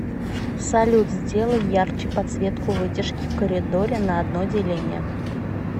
салют сделай ярче подсветку вытяжки в коридоре на одно деление